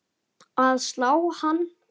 að slá hann.